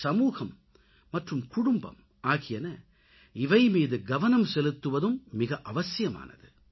சமூகம் மற்றும் குடும்பம் ஆகியன இவை மீது கவனம் செலுத்துவதும் மிக அவசியமானது